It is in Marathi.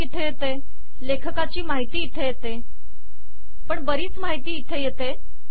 शीर्षक इथे येते लेखकाची माहिती इथे येते पण बरीच माहिती इथे येते आहे